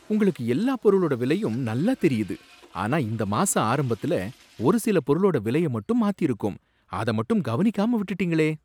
உங்களுக்கு எல்லா பொருளோட விலையும் நல்லா தெரியுது, ஆனா இந்த மாச ஆரம்பத்துல ஒரு சில பொருளோட விலைய மட்டும் மாத்திருக்கோம், அத மட்டும் கவனிக்காம விட்டுட்டீங்களே!